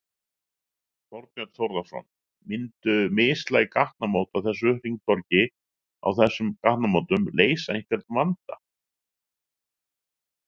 Þorbjörn Þórðarson: Myndu mislæg gatnamót á þessu hringtorg, á þessum gatnamótum leysa einhvern vanda?